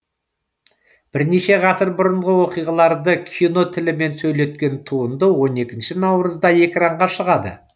бірнеше ғасыр бұрынғы оқиғаларды кино тілімен сөйлеткен туынды он екінші наурызда экранға шығады